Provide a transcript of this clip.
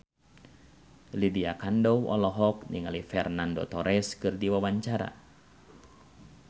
Lydia Kandou olohok ningali Fernando Torres keur diwawancara